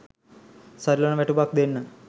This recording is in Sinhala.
සරිලන වැටුපක් දෙන්න.